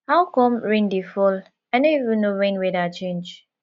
how come rain dey fall i no even know when weather change